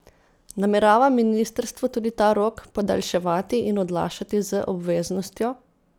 Namerava ministrstvo tudi ta rok podaljševati in odlašati z obveznostjo?